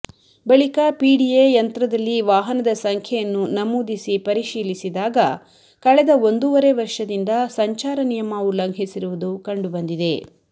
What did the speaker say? ಬಳಿಕ ಪಿಡಿಎ ಯಂತ್ರದಲ್ಲಿ ವಾಹನದ ಸಂಖ್ಯೆಯನ್ನು ನಮೂದಿಸಿ ಪರಿಶೀಲಿಸಿದಾಗ ಕಳೆದ ಒಂದೂವರೆ ವರ್ಷದಿಂದ ಸಂಚಾರ ನಿಯಮ ಉಲ್ಲಂಘಿಸಿರುವುದು ಕಂಡು ಬಂದಿದೆ